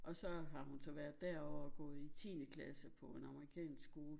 Og så har hun så været derovre og gået i tiende klasse på en amerikansk skole